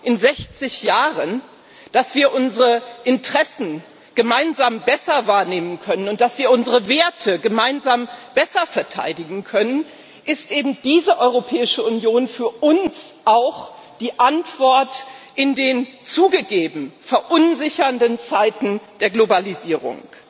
in 60 Jahren gelernt haben, dass wir unsere Interessen gemeinsam besser wahrnehmen können, und dass wir unsere Werte gemeinsam besser verteidigen können, ist eben diese Europäische Union für uns auch die Antwort in den zugegeben verunsichernden Zeiten der Globalisierung.